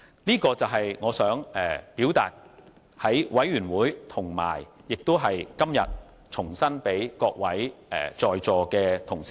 這便是我在小組委員會表達的看法，今天我想重申這點，讓在席各位同事知道。